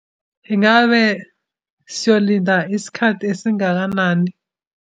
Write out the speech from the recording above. Ingabe siyolinda isikhathi esingakanani?